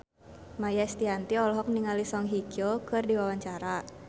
Maia Estianty olohok ningali Song Hye Kyo keur diwawancara